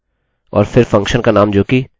और फिर फंक्शनfunction का नाम जोकि myname है